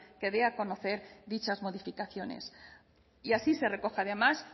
que dé a conocer dichas modificaciones y así se recoge además